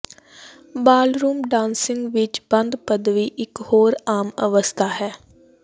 ballroom dancing ਵਿੱਚ ਬੰਦ ਪਦਵੀ ਇਕ ਹੋਰ ਆਮ ਅਵਸਥਾ ਹੈ